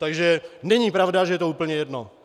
Takže není pravda, že je to úplně jedno.